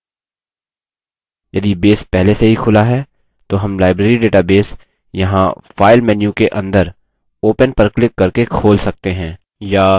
यदि base पहले से ही खुला है तो हम library database यहाँ file menu के अंदर open पर क्लिक करके खोल सकते हैं